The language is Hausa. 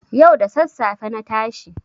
Yau da sassafe na tashi.